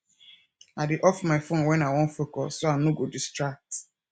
i dey off my phone when i wan focus so i no go distract